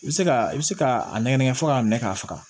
I bɛ se ka i bɛ se k'a nɛgɛnɛgɛ fɔ k'a minɛ k'a faga